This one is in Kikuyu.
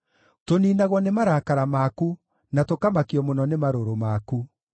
Tũniinagwo nĩ marakara maku, na tũkamakio mũno nĩ marũrũ maku.